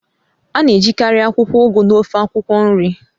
A na-ejikarị akwụkwọ Ugu na ofe akwụkwọ nri.